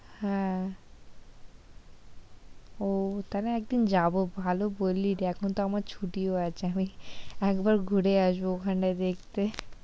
হ্যাঁ, ওহ তাহলে একদিন যাবো ভালো বললি রে, এখন তো আমার ছুটিও আছে, একবার ঘুরে আসব ওইখানটা দেখতে,